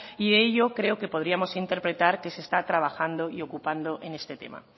y ello creo que podríamos interpretar que se está trabajando y ocupando en este tema